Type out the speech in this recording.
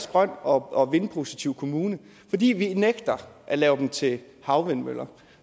grøn og vindpositiv kommune fordi vi nægter at lave dem til havvindmøller